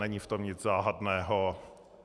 Není v tom nic záhadného.